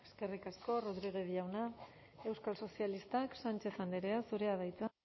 eskerrik asko rodriguez jauna euskal sozialistak sánchez andrea zurea da hitza